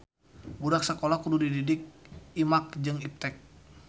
Budak sakola kudu dididik imaq jeung Iptek